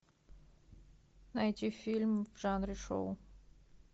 найти фильм в жанре шоу